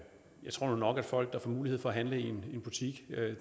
tror nu nok at folk der får mulighed for at handle i en butik